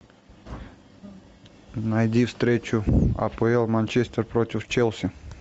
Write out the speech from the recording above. найди встречу апл манчестер против челси